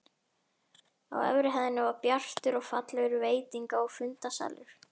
Á efri hæðinni var bjartur og fallegur veitinga- og fundasalur.